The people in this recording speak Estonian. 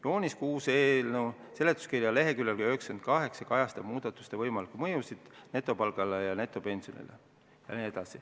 Joonis 6 eelnõu seletuskirja leheküljel 98 kajastab muudatuste võimalikku mõju netopalgale ja netopensionile.